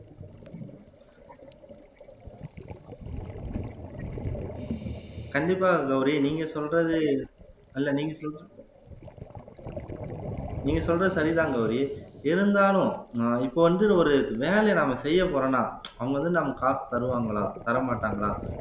கண்டிப்பாக கௌரி நீங்க சொல்றது இல்ல நீங்க சொல்லு நீங்க சொல்றது சரிதான் கௌரி இருந்தாலும் அஹ் இப்ப வந்து ஒரு வேலையை நாம செய்யப் போறோம்னா அவங்க வந்து நம்ம காசு தருவாங்களா தரமாட்டாங்களா